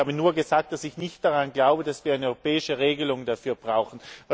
Ich habe nur gesagt, dass ich nicht daran glaube, dass wir eine europäische Regelung dafür brauchen.